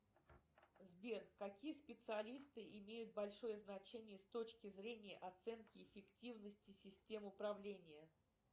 сбер какие специалисты имеют большое значение с точки зрения оценки эффективности систем управления